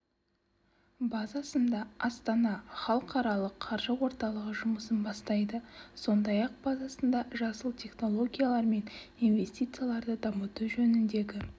базасында астана халықаралық қаржы орталығы жұмысын бастайды сондай-ақ базасында жасыл технологиялар мен инвестицияларды дамыту жөніндегі